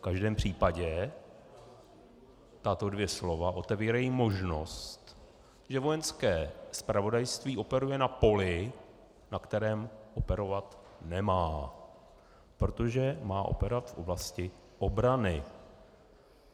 V každém případě tato dvě slova otevírají možnost, že Vojenské zpravodajství operuje na poli, na kterém operovat nemá, protože má operovat v oblasti obrany.